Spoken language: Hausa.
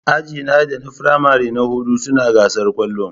Ajina da na firamare na hudu suna gasar kwallon.